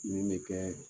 Min bɛ kɛ